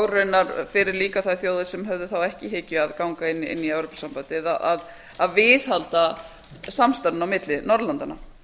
raunar fyrir þjóðir sem höfðu þá ekki í hyggju að ganga í evrópusambandið að viðhalda samstarfinu á milli norðurlandanna